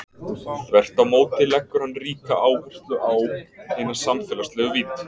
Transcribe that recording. Þvert á móti leggur hann ríka áherslu á hina samfélagslegu vídd.